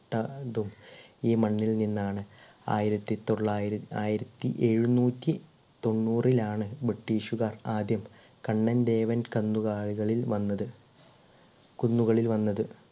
ഈ മണ്ണിൽ നിന്നാണ് ആയിരത്തി തൊള്ളായി ആയിരത്തി എഴുനൂറ്റി തൊണ്ണൂറിൽ ആണ് british കാർ ആദ്യം കണ്ണൻ ദേവൻ കന്നു കാലികളിൽ വന്നത് കുന്നുകളിൽ വന്നത്